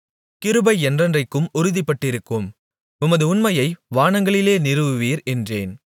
கிருபை என்றென்றைக்கும் உறுதிப்பட்டிருக்கும் உமது உண்மையை வானங்களிலே நிறுவுவீர் என்றேன்